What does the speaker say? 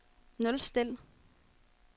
nulstil